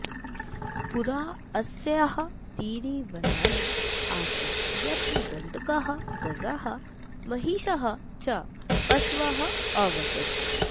पुरा अस्याः तीरे वनानि आसन् यत्र गण्डकाः गजाः महिषाः च पशवः अवसन्